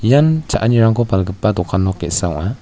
ian cha·anirangko palgipa dokan nok ge·sa ong·a.